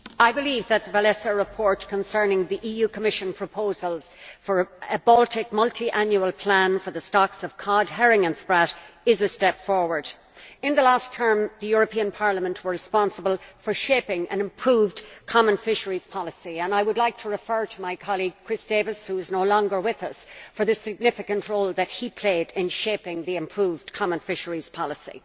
Mr President, I believe that the Wałęsa report concerning the Commission proposals for a Baltic multiannual plan for the stocks of cod, herring and sprat is a step forward. In the last term, Parliament was responsible for shaping an improved Common Fisheries Policy and I would like to commend my colleague, Chris Davies, who is no longer with us, for the significant role that he played in shaping the improved Common Fisheries Policy.